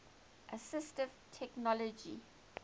assistive technology